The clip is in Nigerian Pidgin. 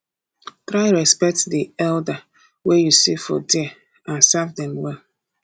try respect di elder wey you see for there and serve dem well